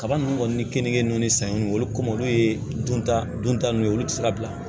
Kaba ninnu kɔni ni kenike ninnu ni sanniw olu komi olu ye dunta dunta ninnu ye olu tɛ se ka bila